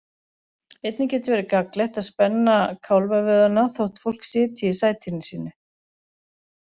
Einnig getur verið gagnlegt að spenna kálfavöðvana þótt fólk sitji í sætinu sínu.